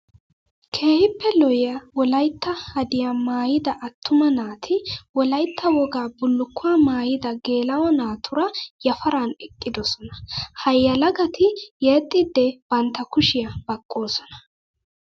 Keehippe lo'iya wolaytta hadiya maayidda atumma naati wolaytta wogaa bulukkuwa maayidda geela'o naatura yafaran eqqidosonna. Ha yelagatti yexxidde bantta kushiya baqqosonna.